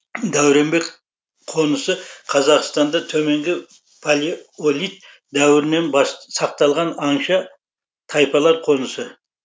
дәуренбек қонысы қазақстанда төменгі палеолит дәуірінен сақталған аңшы тайпалар қонысы